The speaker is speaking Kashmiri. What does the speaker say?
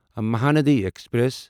مہاندی ایکسپریس